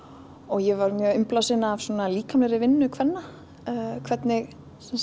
ég var mjög innblásin af líkamlegri vinnu kvenna hvernig